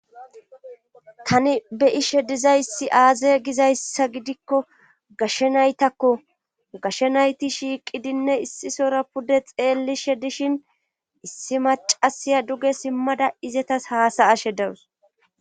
tani be'ishe dizayssi aaze gizayssa gidikko gashshe naytakko gashshe nayti shiiqidinne issisora pude xeellishe dishin issi macasiya duge simmada izetas haasa'ashe dawus